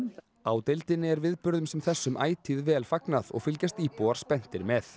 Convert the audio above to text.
á deildinni er viðburðum sem þessum ætíð vel fagnað og fylgjast íbúar spenntir með